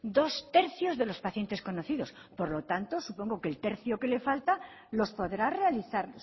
dos tercios de los pacientes conocidos por lo tanto supongo que el tercio que le falta los podrá realizar